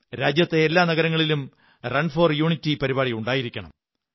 രാജ്യത്തെ എല്ലാ നഗരങ്ങളിലും റൺ ഫോർ യൂണിറ്റി പരിപാടി ഉണ്ടായിരിക്കണം